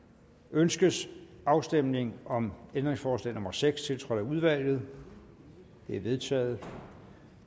ønskes afstemning om ændringsforslag nummer seks tiltrådt af udvalget det er vedtaget